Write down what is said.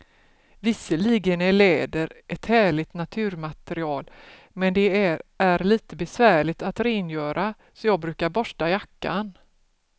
Visserligen är läder ett härligt naturmaterial, men det är lite besvärligt att rengöra, så jag brukar borsta jackan.